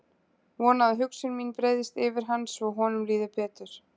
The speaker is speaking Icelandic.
Vona að hugsun mín breiðist yfir hann svo honum líði betur.